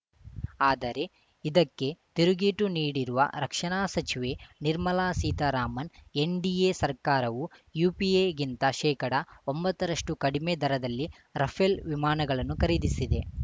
ಆದರೆ ಇದಕ್ಕೆ ತಿರುಗೇಟು ನೀಡಿರುವ ರಕ್ಷಣಾ ಸಚಿವೆ ನಿರ್ಮಲಾ ಸೀತಾರಾಮನ್‌ ಎನ್‌ಡಿಎ ಸರ್ಕಾರವು ಯುಪಿಎಗಿಂತ ಶೇಕಡ ಒಂಬತ್ತರಷ್ಟುಕಡಿಮೆ ದರದಲ್ಲಿ ರಫೇಲ್‌ ವಿಮಾನಗಳನ್ನು ಖರೀದಿಸಿದೆ